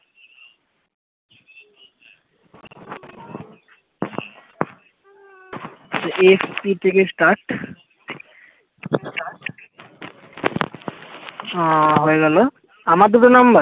থেকে start আহ হয়ে গেল আমার দুটো নাম্বার